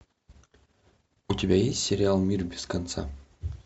у тебя есть сериал мир без конца